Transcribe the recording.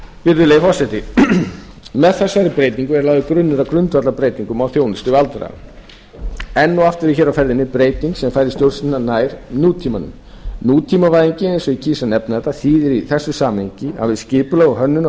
virðulegi forseti með þessari breytingu er lagður grunnur að grundvallarbreytingum á þjónustu við aldraða enn og aftur er hér á ferðinni breyting sem færir stjórnina nær nútímanum nútímavæðingin eins og ég kýs að nefna þetta þýðir í þessu samhengi að við skipulag og hönnun á